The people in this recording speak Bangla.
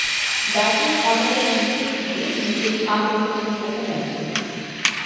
ব্যাটিং অর্ডারের নিচের দিকে নিজের ছাপ রেখেছেন বহু ম্যাচে